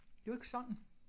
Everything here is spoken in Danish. Det er jo ikke sådan